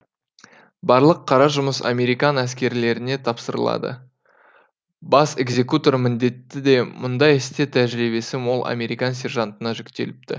барлық қара жұмыс американ әскерилеріне тапсырылады бас экзекутор міндеті де мұндай істе тәжірибесі мол американ сержантына жүктеліпті